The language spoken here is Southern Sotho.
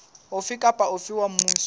ofe kapa ofe wa mmuso